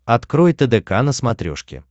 открой тдк на смотрешке